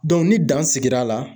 ni dan sigira la.